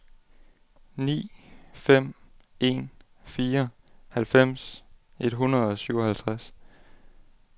ni fem en fire halvfems et hundrede og syvoghalvtreds